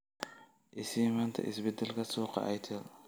i sii maanta isbeddelka suuqa airtel